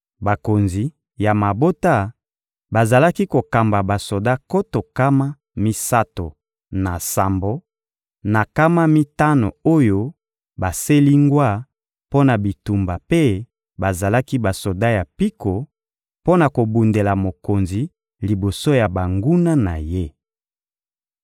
Bakonzi ya mabota bazalaki kokamba basoda nkoto nkama misato na sambo na nkama mitano oyo baselingwa mpo na bitumba mpe bazalaki basoda ya mpiko, mpo na kobundela mokonzi liboso ya banguna na ye.